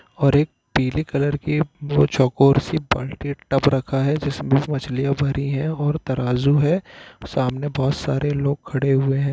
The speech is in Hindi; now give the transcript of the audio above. और एक पीले कलर की व चकोर सी बाल्टी टब रखा है जिसमे मछलिया भरी है और तराज़ू है सामने बहुत सारे लोग खड़े हुए है।